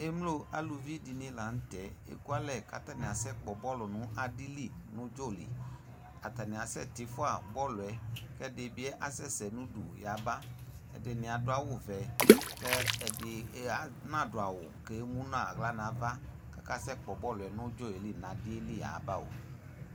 Emlo alʋviɖini lanʋtɛ, k'ekʋalɛ kasɛ kpɔ bɔlʋ nʋ adili nʋ ʋdzɔliAtani asɛ tifua bɔlʋɛ, k'ɛɖibi asɛsɛ n'ʋɖʋ yaba k'ɛɖini aɖʋ awu vɛ, k'ɛɖi n'aɖʋ awu k'ɛmu n'aɣla nava kasɛ kpo bɔlʋɛ nʋ udzɔli nadiɛli yabao